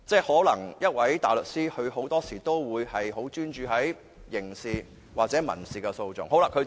換言之，大律師很多時都專注於刑事或民事訴訟。